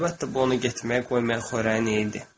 Əlbəttə, bu onu getməyə qoymayan xörəyin nə idi?